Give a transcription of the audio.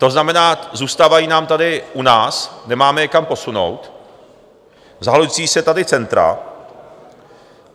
To znamená, zůstávají nám tady u nás, nemáme je kam posunout, zahlcují se tady centra.